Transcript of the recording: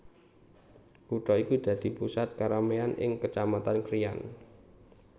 Kutha iki dadi pusat kerameyan ing Kecamatan Krian